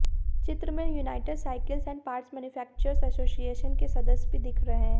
चित्र में united cycles and parts manufacturers association के सदस्य भी दिख रहे हैं